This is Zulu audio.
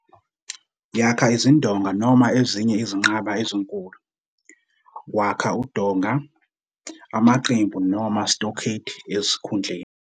Yakha izindonga noma ezinye izinqaba ezinkulu, wakha udonga, amaqembu noma stockade esikhundleni.